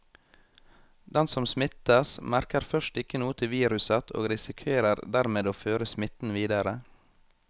Den som smittes, merker først ikke noe til viruset og risikerer dermed å føre smitten videre.